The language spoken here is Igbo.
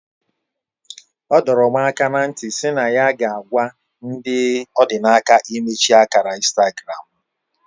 O dorom aka na nti SI na ya ga agwa ndi odinaka imechi akara Instagram mu